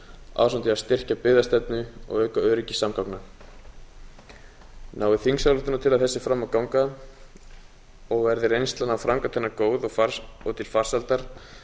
ásamt því að styrkja byggðastefnu og auka öryggi samgangna nái þingsályktunartillaga þessi fram að ganga og verði reynslan af framkvæmd hennar góð og til farsældar